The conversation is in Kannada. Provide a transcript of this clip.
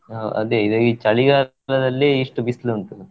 ಹಾ ಅದೇ ಈಗ ಚಳಿಗಾಲದಲ್ಲಿ ಇಷ್ಟು ಬಿಸಿಲು ಉಂಟು.